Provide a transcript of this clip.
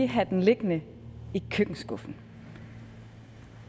have den liggende i køkkenskuffen